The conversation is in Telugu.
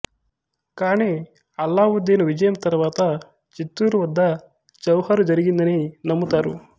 కాని అలావుద్దీను విజయం తరువాత చిత్తూరు వద్ద జౌహరు జరిగిందని నమ్ముతారు